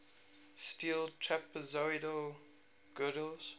steel trapezoidal girders